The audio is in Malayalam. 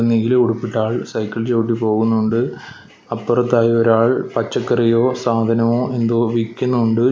നീല ഉടുപ്പിട്ട ആൾ സൈക്കിൾ ചവിട്ട് പോകുന്നുണ്ട് അപ്പുറത്തായി ഒരാൾ പച്ചക്കറിയോ സാധനമോ എന്തോ വിക്കുണുണ്ട്.